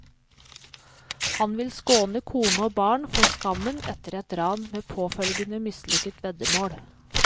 Han vil skåne kone og barn for skammen etter et ran med påfølgende mislykket veddemål.